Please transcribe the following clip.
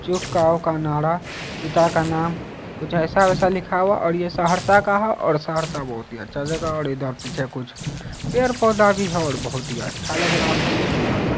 का नारा पिता का नाम कुछ ऐसा-वैसा लिखा हुआ है और ये सहरसा का है और सहरसा बहुत ही अच्छा जगह है और इधर पीछे कुछ पेड़- पौधा भी है और बहुत ही अच्छा लग रहा है सुन्दर है।